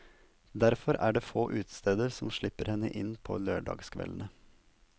Derfor er det få utesteder som slipper henne inn på lørdagskveldene.